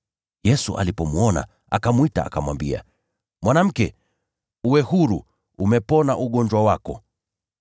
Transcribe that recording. Yesu alipomwona, akamwita, akamwambia, “Mwanamke, uwe huru, umepona ugonjwa wako.”